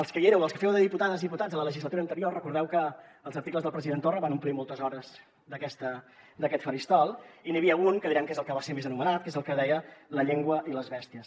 els que hi éreu els que fèieu de diputades i diputats en la legislatura anterior recordeu que els articles del president torra van omplir moltes hores d’aquest faristol i n’hi havia un que direm que és el que va ser més anomenat que és el que deia la llengua i les bèsties